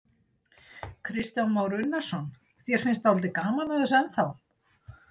Kristján Már Unnarsson: Þér finnst dálítið gaman að þessu ennþá?